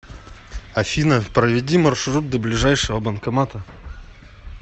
афина проведи маршрут до ближайшего банкомата